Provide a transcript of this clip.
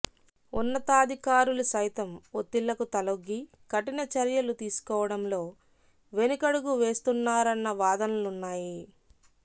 ఉన్నతాధికారులు సైతం ఒత్తిళ్లకు తలొగ్గి కఠిన చర్యలు తీసుకోవడంలో వెనుకడుగు వేస్తున్నారన్న వాదనలున్నాయి